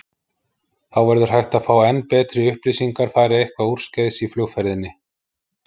Þá verður hægt að fá enn betri upplýsingar fari eitthvað úrskeiðis í flugferðinni.